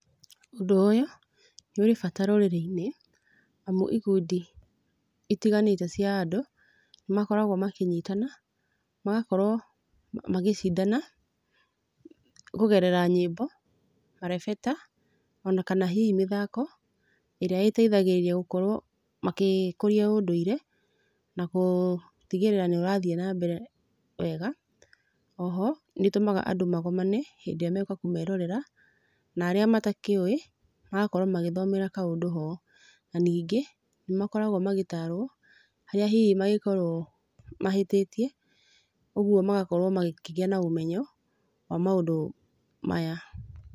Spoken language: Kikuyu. Ũndũ ũyũ, nĩũrĩ bata rũrĩrĩ-inĩ, amu ikundi, itiganĩte cia andũ, nĩmakoragũo makĩnyitana, magakorũo magĩcindana, kũgerera nyiĩmbo, marebata, ona kana hihi mĩthako, ĩrĩa ĩteithagĩrĩria gũkorũo magĩkũria ũndũire, na gũtigĩrĩra nĩũrathiĩ nambere wega, oho, nĩtũmaga andũ magomane, hĩndĩrĩa megũka kũmerorera, narĩa matakĩũĩ, magakorũo magĩthomera kaũndũ ho. Na ningĩ, nĩmakoragũo magĩtarũo, harĩa hihi mangĩkorũo mahĩtĩtie, ũguo magakorũo magĩkĩgĩa na ũmenyo, wa maũndũ maya.